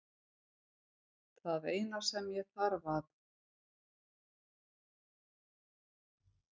Það eina sem ég þarf að